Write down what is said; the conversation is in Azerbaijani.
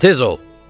Di tez ol!